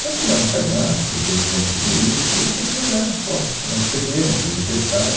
Então, fizemos um cadastro, organizamos tudo isso e as pessoas deram as fotos né, cederam, quer dizer, emprestaram.